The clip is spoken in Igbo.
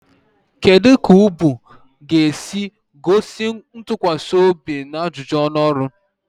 Kedu ka ubu ga-esi gosi ntụkwasị obi na ajụjụ ọnụ ọrụ?